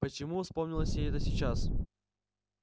почему вспомнилось ей это сейчас